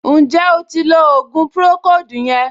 Ǹjẹ́ o ti lo ògùn pùròkóòdù yẹn